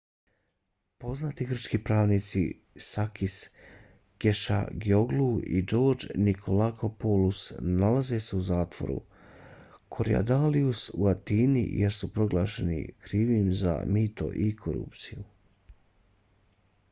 poznati grčki pravnici sakis kechagioglou i george nikolakopoulos nalaze se u zatvoru korydallus u atini jer su proglašeni krivima za mito i korupciju